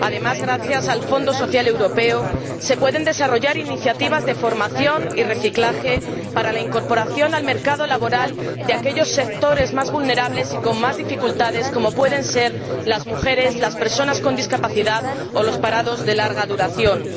Además, gracias al Fondo Social Europeo, se pueden desarrollar iniciativas de formación y reciclaje para la incorporación al mercado laboral de los sectores más vulnerables y con más dificultades, como pueden ser las mujeres, las personas con discapacidad o los parados de larga duración,